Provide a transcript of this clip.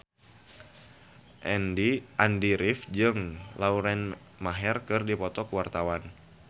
Andy rif jeung Lauren Maher keur dipoto ku wartawan